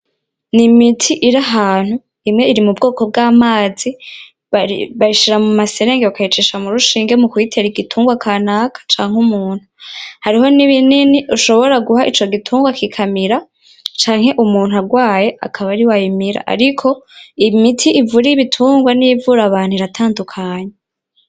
Ni imiti iri ahantu, imwe iri mu bwoko bw'amazi bayishira mu ma serenge bakayicisha mu rushinge mu kuyitera igitungwa kanaka canke umuntu, hariho n'ibinini ushobora guha ico gitungwa kikamira canke umuntu arwaye akaba ariwe ayimira, ariko imiti ivura ibitungwa n'iyivura abantu iratandukanye.